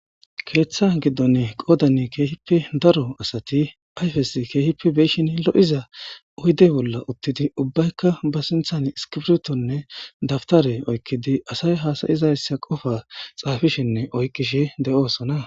Keeththa giddon qoodan keehippe daro asati ayfes keehippe beyshin lo'za oyde bolla uttidi ubbaykka ba siinththan iskibirtonne dabtare oykkidi asay haasayizayssa qofa xaafishinne oykkishe de'oosona